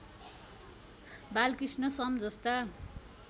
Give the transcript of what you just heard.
बालकृष्ण सम जस्ता